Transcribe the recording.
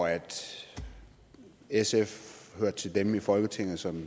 sf hørte til dem i folketinget som